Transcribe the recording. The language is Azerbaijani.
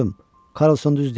Karsson düz deyir.